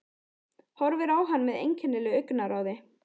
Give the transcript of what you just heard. Horfir á hann með einkennilegu augnaráði.